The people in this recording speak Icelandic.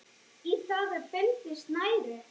Í það er bundið snæri.